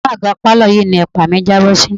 Inú àga pálọ̀ yìí ni ẹ̀pa mi jábọ́ sí.